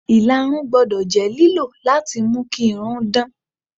Ìlarun gbọ́dọ̀ jẹ́ lílò láti mú kí irun dán.